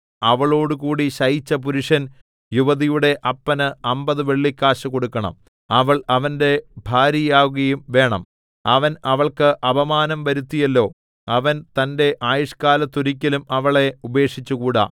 അവളോടുകൂടി ശയിച്ച പുരുഷൻ യുവതിയുടെ അപ്പന് അമ്പത് വെള്ളിക്കാശ് കൊടുക്കണം അവൾ അവന്റെ ഭാര്യയാവുകയും വേണം അവൻ അവൾക്ക് അപമാനം വരുത്തിയല്ലോ അവൻ തന്റെ ആയുഷ്കാലത്തൊരിക്കലും അവളെ ഉപേക്ഷിച്ചുകൂടാ